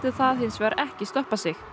það hins vegar ekki stoppa sig